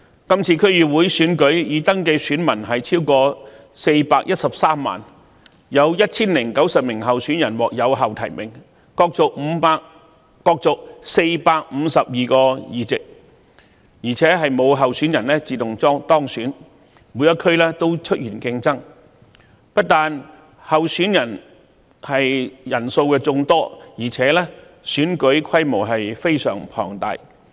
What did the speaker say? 今次區議會選舉的已登記選民超過413萬人，有 1,090 名候選人獲有效提名，角逐452個議席，而且沒有候選人自動當選，每一區均出現競爭，不單候選人人數眾多，選舉規模亦非常龐大。